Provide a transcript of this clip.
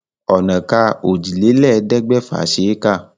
Ònàka òjìlélẹ̀ẹ́dẹ́gbẹ̀fà ṣe é kà.